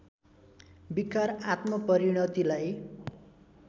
विकार आत्मपरिणतिलाई